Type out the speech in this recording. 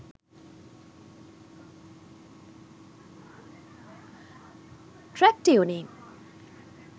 truck tuning